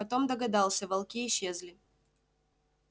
потом догадался волки исчезли